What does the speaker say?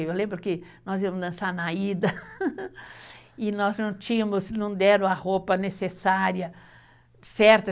Eu lembro que nós íamos dançar na ida e nós não tínhamos, não deram a roupa necessária, certa